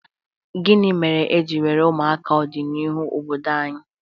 Gịnị mere e ji were ụmụaka ọdịnihu obodo anyị?